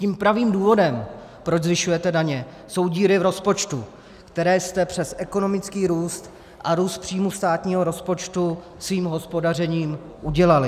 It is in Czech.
Tím pravým důvodem, proč zvyšujete daně, jsou díry v rozpočtu, které jste přes ekonomický růst a růst příjmů státního rozpočtu svým hospodařením udělali.